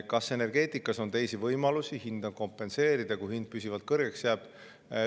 Kas energeetikas on teisi võimalusi hinda kompenseerida, kui hind püsivalt kõrgeks jääb?